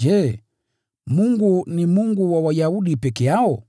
Je, Mungu ni Mungu wa Wayahudi peke yao?